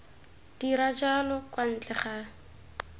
dira jalo kwa ntle ga